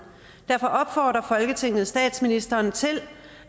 derfor opfordrer folketinget statsministeren til